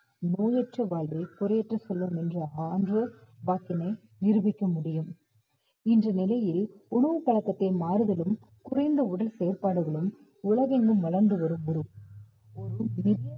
நோயற்ற வாழ்வே குறையற்ற செல்வம் என்ற சான்றோர் வாக்கினை நிரூபிக்க முடியும். இன்று நிலையில் உணவு பழக்கத்தை மாறுதலும் குறைந்த உடல் செயல்பாடுகளும் உலகெங்கும் வளர்ந்து வரும் ஒரு